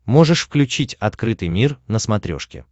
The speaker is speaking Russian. можешь включить открытый мир на смотрешке